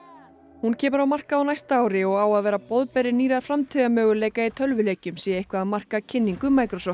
hún kemur á markað á næsta ári og á að vera boðberi nýrra framtíðarmöguleika í tölvuleikjum sé eitthvað að marka kynningu